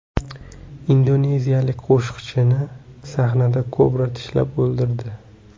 Indoneziyalik qo‘shiqchini sahnada kobra tishlab o‘ldirdi.